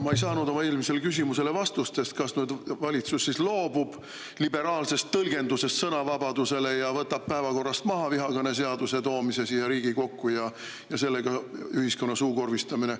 Ma ei saanud vastust oma eelmisele küsimusele, kas valitsus loobub sõnavabaduse liberaalsest tõlgendusest ja võtab päevakorrast maha vihakõneseaduse toomise siia Riigikokku ja sellega ühiskonna suukorvistamise.